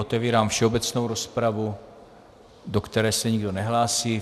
Otevírám všeobecnou rozpravu, do které se nikdo nehlásí.